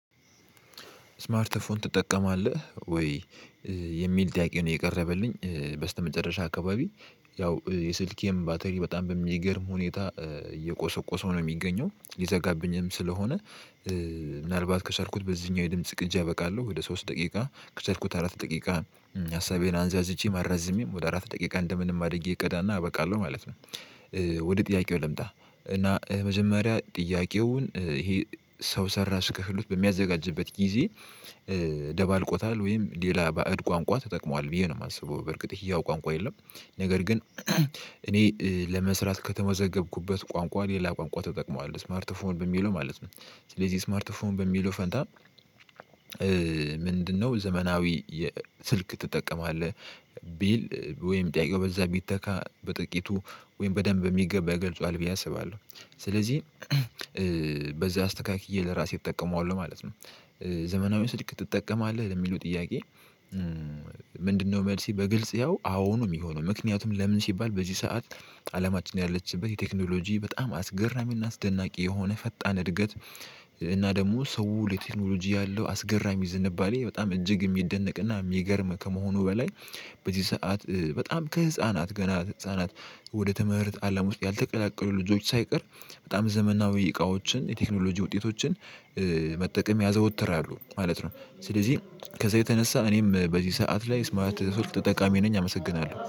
ስማርት ፎን ትጠቀማለህ ወይ? የሚል ጥያቄ ነው የቀረበልኝ በስተመጨረሻ አካባቢ ያው የስልኬም ባትሪ በጣም በሚገርም ሁኔታ እየቆሰቆሰ ነው የሚገኘው ሊዘጋብኝም ስለሆነ። ምናልባት ከቻልኩት በዚህኛው የድምጽ ቅጪ አበቃለሁ ወደ ሶስት ደቂቃ ከቸልኩት አራት ደቂቃ ሀሳቤን አንዛዝቼ አራዝሜም ወደ አራት ደቂቃ እንደምንም አድርጌ እቀዳና እበቃለሁ ማለት ነው። ወደ ጥያቄው ልምጣ እና መጀመሪያ ጥያቄውን ይሄ ሰው ሰራሽ ክህሎት በሚያዘጋጅበት ጊዜ ደባልቆታል ወይም ሌላ ባዕድ ቋንቋ ተጠቅሟል ብዬ ነው የማስበው በርግጥ ይሄው ቋንቋ የለም። ነገር ግን እኔ ለመስራት ከተመዘገብኩበት ቋንቋ ሌላ ቋንቋ ተጠቅሟል ስማርት ፎን በሚለው ማለት ነው። ስለዚህ ስማርት ፎን በሚለው ፈንታ ምንድነው? ዘመናዊ ስልክ ትጠቀማለህ ቢል ወይም ጥያቄው በዛ ቢተካ በጥቂቱ ወይም በደንብ የሚገባ ይገልጸዋል ብዬ አስባለሁ። ስለዚህ በዛ አስተካክዬ ለራሴ እጠቀመዋለሁ ማለት ነው። ዘመናዊ ስልክ ትጠቀማለህ ለሚለው ጥያቄ። ምንድነው? መልሴ በግልጽ ያው አዎ ነው የሚሆነው። ምክንያቱም ለምን ሲባል በዚህ ሰዓት አለማችን ያለችበት የቴክኖሎጂ በጣም አስገራሚና አስደናቂ የሆነ ፈጣን እድገት። እና ደግሞ ሰው ለቴክኖሎጂ ያለው አስገራሚ ዝንባሌ በጣም እጅግ የሚደነቅና የሚገርም ከመሆኑ በላይ። በዚህ ሰዓት በጣም ከህፃናት ገና ህፃናት ወደ ትምህርት አላም ውስጥ ያልተቀላቀሉ ልጆች ሳይቀር በጣም ዘመናዊ እቃዎችን የቴክኖሎጂ ውጤቶችን መጠቀም ያዘወትራሉ ማለት ነው። ስለዚህ ከዛ የተነሳ እኔም በዚህ ሰዓት ላይ ስማርት ስልክ ተጠቃሚ ነኝ አመሰግናለሁ